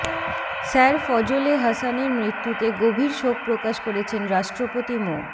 sir Fazle হাসানের মৃত্যুতে গভীর শোক প্রকাশ করেছেন রাষ্ট্রপতি মো